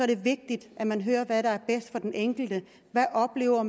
det vigtigt at man hører hvad der er bedst for den enkelte hvad oplever